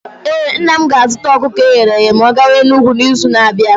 Ee, nna m ga-azụta ọkụkọ eghere eghe ma ọ gawa Enugwu n’izu na-abịa.